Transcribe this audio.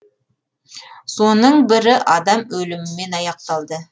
соның бірі адам өлімімен аяқталды